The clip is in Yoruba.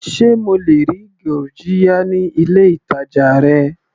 Sé mo lè rí gurjiya ní ilé ìtàjà rẹ.